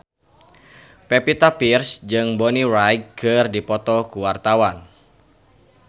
Pevita Pearce jeung Bonnie Wright keur dipoto ku wartawan